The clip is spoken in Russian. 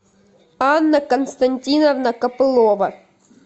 анна константиновна копылова